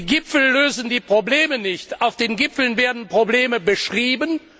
Die Gipfel lösen die Probleme nicht, auf den Gipfeln werden Probleme beschrieben.